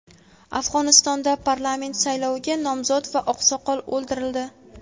Afg‘onistonda parlament sayloviga nomzod va oqsoqol o‘ldirildi.